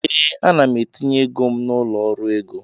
Ee, ana m etinye ego m na ụlọ ọrụ ego